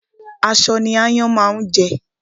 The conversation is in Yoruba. Aṣọ ní ááyán máa ń jẹ